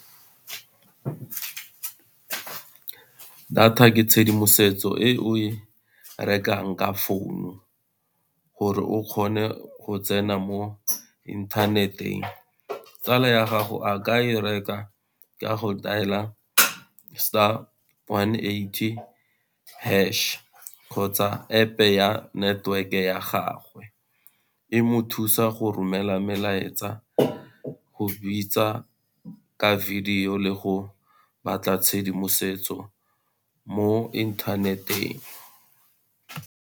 Data ke tshedimosetso e o e rekang ka founu, gore o kgone go tsena mo inthaneteng. Tsala ya gago a ka e reka ka go dail-a star one eighty hash kgotsa App-e ya network-e ya gagwe, e mo thusa go romela melaetsa, go bitsa ke video le go batla tshedimosetso mo inthaneteng.